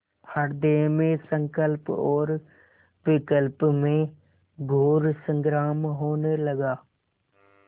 हृदय में संकल्प और विकल्प में घोर संग्राम होने लगा